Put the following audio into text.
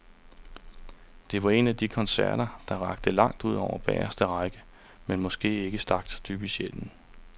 Det var en af de koncerter, der rakte langt ud over bageste række, men måske ikke stak så dybt i sjælen.